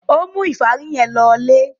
Ó mú ìfárí yẹn lọlé?